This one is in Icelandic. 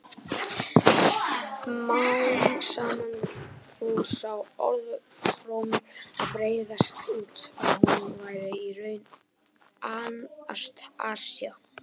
Smám saman fór sá orðrómur að breiðast út að hún væri í raun Anastasía.